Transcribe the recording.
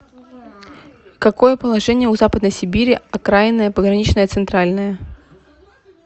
какое положение у западной сибири окраинное пограничное центральное